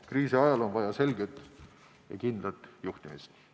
Kriisiajal on vaja selget ja kindlat juhtimist.